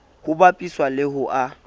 ho bapiswa le ho a